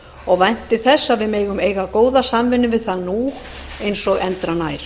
og vænti þess að við megum eiga góða samvinnu við það nú eins og endranær